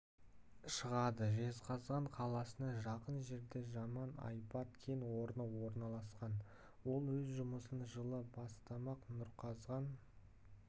шығады жезқазған қаласына жақын жерде жаман-айбат кен орны орналасқан ол өз жұмысын жылы бастамақ нұрқазған